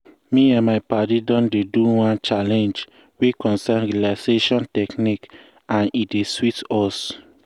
me and my padi don dey do one challenge wey concern um relaxation technique and e dey sweet us.